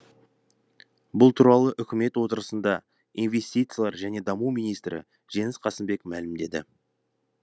бұл туралы үкімет отырысында инвестициялар және даму министрі жеңіс қасымбек мәлімдеді